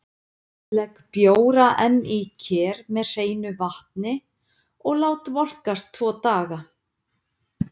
Legg bjóra enn í ker með hreinu vatni og lát volkast tvo daga.